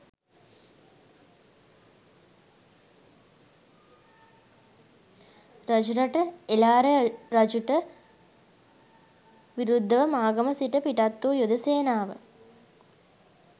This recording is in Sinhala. රජරට එළාර රජුට විරුද්ධව මාගම සිට පිටත් වූ යුද සේනාව